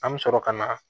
An bɛ sɔrɔ ka na